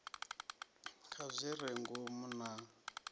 kha zwi re ngomu na